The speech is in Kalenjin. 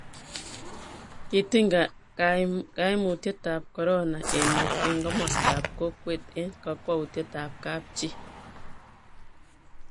kitiny kaimutietab korona emet eng' komostab kokwet eng' kakwoutietab kapchii